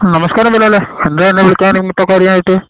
നമസ്കാരം ബിലാലെ എന്താ എന്നെ വിളിക്കാനും ഇങ്ങട്ട് കാര്യായിട്ട് .